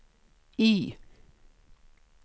Y